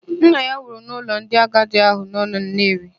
Nna ya nwụrụ n'ụlọ ndị agadi ahụ nọ na Nnewi.